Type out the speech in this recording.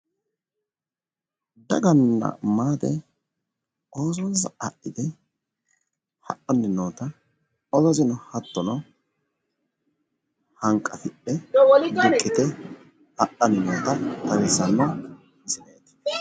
Daganna maate oosonsa adhite hadhanni noota oososeno hattono hanqafidhe duqqite hadhanni noota xawissanno misileeti.